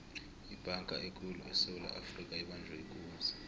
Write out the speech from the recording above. ibhanga ekulu esewula afrika ibanjwe ikunzi